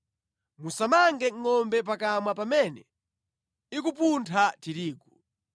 Musamange ngʼombe pakamwa pamene ikupuntha tirigu.